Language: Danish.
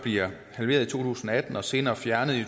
halveret i to tusind og atten og senere fjernet i